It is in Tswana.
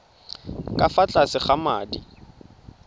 ka fa tlase ga madi